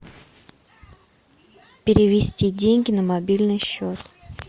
перевести деньги на мобильный счет